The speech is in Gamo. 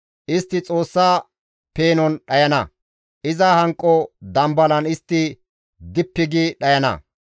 Istti Xoossa peenon dhayana; iza hanqo dambalan istti dippi gi dhayana.